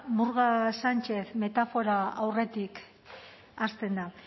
murga sánchez metafora aurretik hasten da